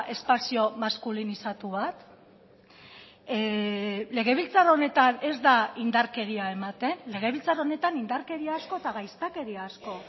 espazio maskulinizatu bat legebiltzar honetan ez da indarkeria ematen legebiltzar honetan indarkeria asko eta gaiztakeria asko